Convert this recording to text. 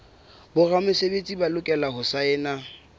boramesebetsi ba lokela ho saena